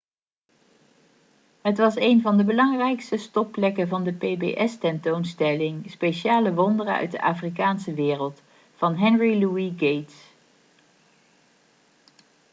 het was een van de belangrijkste stopplekken van de pbs-tentoonstelling speciale wonderen uit de afrikaanse wereld van henry louis gates